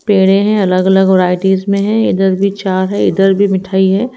पेड़े है अलग अलग वैरायटी में है इधर भी चार हैं इधर भी मिठाई हैं।